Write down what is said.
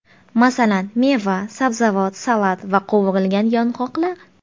Masalan, meva, sabzavot, salat va qovurilgan yong‘oqlar.